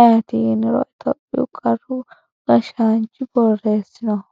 ayiiti yiniro itophiyuu qaru gashshaanchi boreesinoho.